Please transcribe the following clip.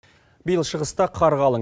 биыл шығыста қар қалын